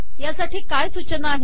यासाठी काय सूचना आहेत